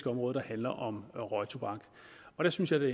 område der handler om røgtobak og der synes jeg det